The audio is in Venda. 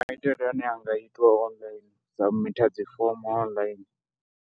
Maitele ane a nga itiwa ndi u sabimitha dzi fomo online.